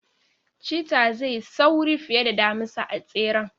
Chetta zai yi sauri fiye da damisa a tseren.